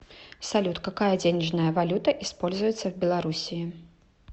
салют какая денежная валюта используется в белоруссии